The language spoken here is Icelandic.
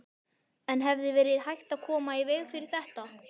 En hefði verið hægt að koma í veg fyrir þetta?